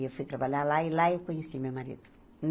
E eu fui trabalhar lá e lá eu conheci meu marido.